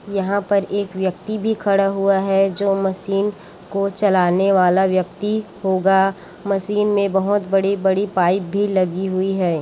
यहाँ पर एक व्यक्ति भी खड़ा हुआ है जो मशीन को चलाने वाला व्यक्ति होगा मशीन में बहुत बड़ी-बड़ी पाइप भी लगी हुई है।